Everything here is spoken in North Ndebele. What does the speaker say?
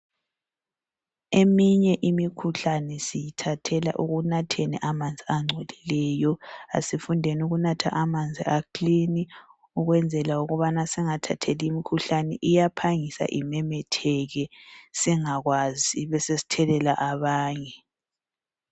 Eminye imikhuhlane siyithathela ekunatheni amanzi angcolileyo asifundeni ukunatha amanzi a"clean" ukwenzela ukubana singathatheli imikhuhlane, iyaphangisa imemetheke singakwazi sibe sesithelela abanye.